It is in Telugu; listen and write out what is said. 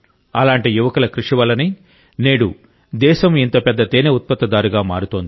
అలాంటి యువకుల కృషి వల్లనే నేడు దేశం ఇంత పెద్ద తేనె ఉత్పత్తిదారుగా మారుతోంది